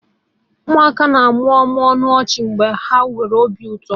Ụmụaka na-amụmụ ọnụ ọchị mgbe ha nwere obi ụtọ.